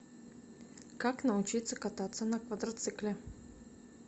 как научиться кататься на квадроцикле